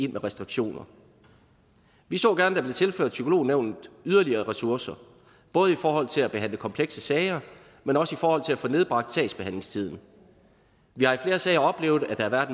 restriktioner vi så gerne at der blev tilført psykolognævnet yderligere ressourcer både i forhold til at behandle komplekse sager men også i forhold til at få nedbragt sagsbehandlingstiden vi har i flere sager oplevet at der har